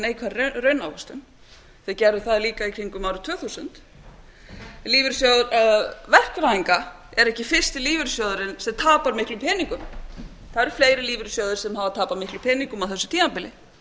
neikvæðri raunávöxtun þeir gerðu það líka í kringum árið tvö þúsund lífeyrissjóðir vesturbæinga er ekki fyrst lífeyrissjóðurinn sem tapar miklum peningum það eru fleiri lífeyrissjóðir sem hafa tapað miklum peningum á þessu tímabili